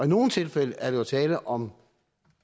nogle tilfælde er der tale om